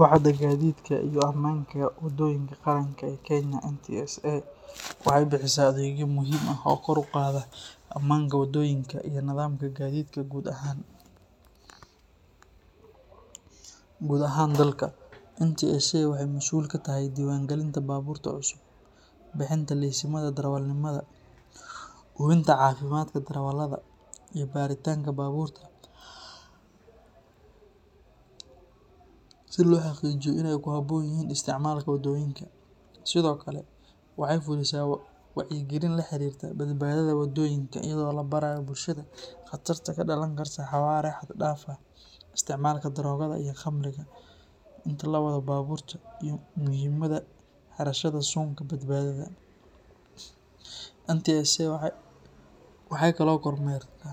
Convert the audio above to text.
Waaxda Gaadiidka iyo Ammaanka Waddooyinka Qaranka ee Kenya NTSA waxay bixisaa adeegyo muhiim ah oo kor u qaada ammaanka waddooyinka iyo nidaamka gaadiidka guud ahaan dalka. NTSA waxay masuul ka tahay diiwaangelinta baabuurta cusub, bixinta laysimada darawalnimada, hubinta caafimaadka darawallada, iyo baaritaanka baabuurta si loo xaqiijiyo in ay ku habboon yihiin isticmaalka waddooyinka. Sidoo kale, waxay fulisaa wacyigelin la xiriirta badbaadada waddooyinka iyadoo la barayo bulshada khatarta ka dhalan karta xawaare xad dhaaf ah, isticmaalka daroogada iyo khamriga inta la wado baabuurta, iyo muhiimadda xirashada suunka badbaadada. NTSA waxay kaloo kormeerta